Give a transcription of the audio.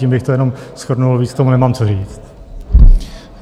Tím bych to jenom shrnul, víc k tomu nemám co říct.